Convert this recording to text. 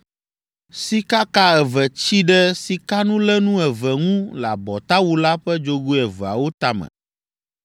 Sikaka eve tsi ɖe sikanulénu eve ŋu le abɔtawu la ƒe dzogoe eveawo tame;